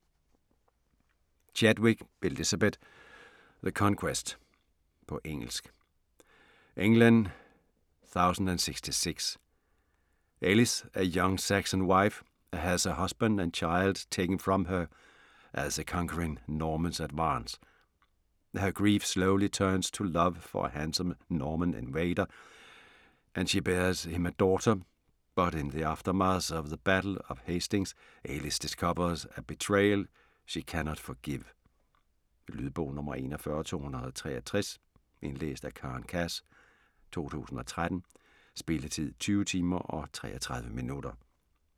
Chadwick, Elizabeth: The conquest På engelsk. England 1066. Ailith, a young Saxon wife has her husband and child taken from her as the conquering Normans advance. Her grief slowly turns to love for a handsome Norman invader and she bears him a daughter, but in the aftermath of the Battle of Hastings Ailith discovers a betrayal she cannot forgive. Lydbog 41263 Indlæst af Karen Cass, 2013. Spilletid: 20 timer, 33 minutter.